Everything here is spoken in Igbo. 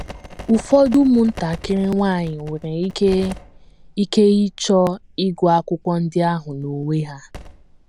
Ụfọdụ ụmụntakịrị nwanyị nwere ike ike ịchọ ịgụ akwụkwọ ndị ahụ n’onwe ha.